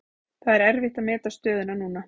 Það er erfitt að meta stöðuna núna.